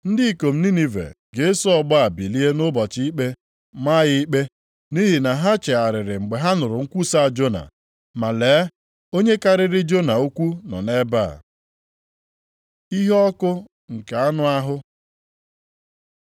Ndị ikom Ninive ga-eso ọgbọ a bilie nʼụbọchị ikpe maa ya ikpe, nʼihi na ha chegharịrị mgbe ha nụrụ nkwusa Jona, ma lee, onye karịrị Jona ukwuu nọ nʼebe a.” Iheọkụ nke anụ ahụ